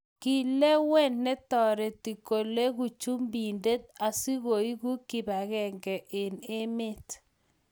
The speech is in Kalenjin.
kilewen ne toreti koleku chumbindet asikuibu kibagenge eng' emet